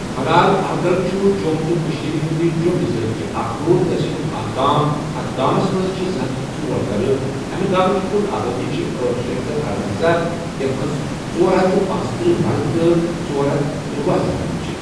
ملال احگل چھُ جۆم تہٕ کٔشیٖر ہٕنٛدِ جۆم ضِلہٕ کہِ اَکھنوٗر تَحصیٖلُک اَکھ گام اَتھ گامَس مَنٛز چھِ زٕ ہتھ ژور گَرٕ اَمہِ گامٕچ کُل آبٲدی چھِ أٹھ شیٚتھ تہٕ ارۄنزاہ یَتھ مَنٛز ژورہتھ تہٕ پرٔنژتٕرہ مَرٕد تہٕ ژورہتھ ترۄہٕ زَنانہٕ چھِ۔